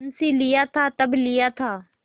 मुंशीलिया था तब लिया था